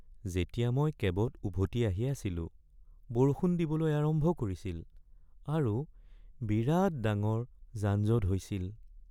যেতিয়া মই কেবত উভতি আহি আছিলো, বৰষুণ দিবলৈ আৰম্ভ কৰিছিল আৰু বিৰাট ডাঙৰ যানজঁট হৈছিল।